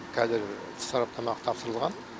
қазір сараптамаға тапсырылған